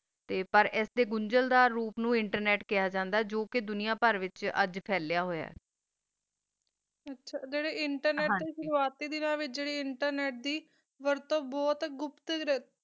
ਪਰ ਆਸ ਦਾ ਗੋਂਗਲ ਨੂ ਕੀ internet ਦਾ ਰੂਪ ਖਯਾ ਜਾਂਦਾ ਆ ਕੁ ਕਾ ਆ ਦੁਨਿਯਾ ਵਿਤਚ internet ਹੋਆ ਆ internet ਦੀ ਵੀ ਆਪਣੀ ਗਾਘਾ ਹੋਂਦੀ ਤਾ ਆਂਡਿ ਵਰਤੋ ਬੋਹਤ ਗੁਪਤ ਹੋਂਦੀ ਆ